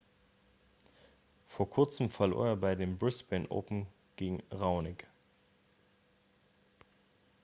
vor kurzem verlor er bei den brisbane open gegen raonic